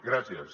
gràcies